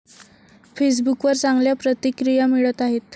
फेसबुकवर चांगल्या प्रतिक्रिया मिळत आहेत.